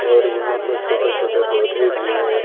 और यहां पर छोटे छोटे पौधे भी है।